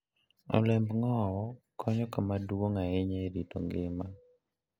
Olemb ng'owo konyo kama duong' ahinya e rito ngima.